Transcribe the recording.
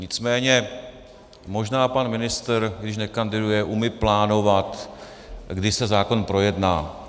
Nicméně možná pan ministr, když nekandiduje, umí plánovat, kdy se zákon projedná.